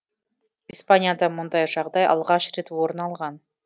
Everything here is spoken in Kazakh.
испанияда мұндай жағдай алғаш рет орын алған